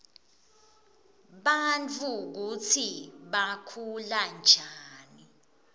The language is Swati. bantfu kutsi bakhulanjani